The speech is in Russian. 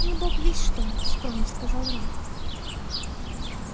не бог весть что скромно сказал рон